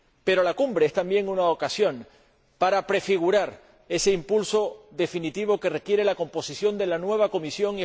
Pero la Cumbre es también una ocasión para prefigurar ese impulso definitivo que requiere la composición de la nueva Comisión